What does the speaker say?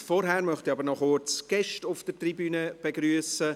Vorher möchte ich aber noch kurz Gäste auf der Tribüne begrüssen.